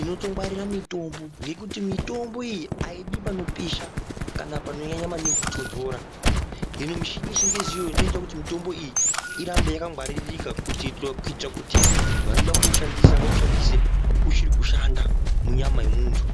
inotongwarira mitombo ngekuti mitombo iyi ayidi panopisha kana panonyanya maningi kutondora, hino michini yechingezi iyoyi ndiyo inoita kuti mutombo iyi irambe yakangwaririka kuitire kuti vanoda kuwushandisa vaushandise uchiri kushanda munyama yemuntu.